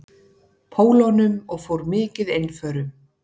Pólunum og fór mikið einförum.